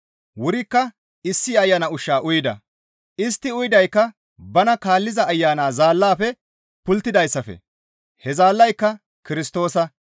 Wurikka issi ayana ushshu uyida; istti uyidaykka bana kaalliza ayana zaallafe pulttidayssafe; he zaallayka Kirstoosa.